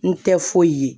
N tɛ foyi ye